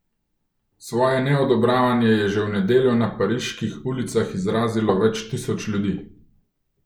Svoje neodobravanje je že v nedeljo na pariških ulicah izrazilo več tisoč ljudi.